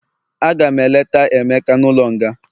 Agam eleta emeka n'ulo nga